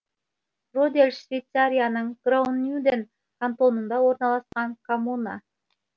родельс швейцарияның граубюнден кантонында орналасқан коммуна